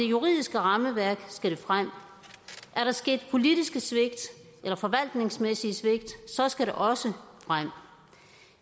juridiske rammeværk skal det frem og er der sket politiske svigt eller forvaltningsmæssige svigt skal det også frem